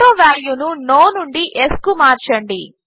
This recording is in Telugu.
ఆటోవాల్యూ ను నో నుండి యెస్ కు మార్చండి